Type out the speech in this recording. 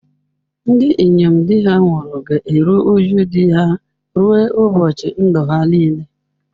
Ndị inyom di ha nwụrụ ga-eru uju di ha ruo ụbọchị ndụ ha niile.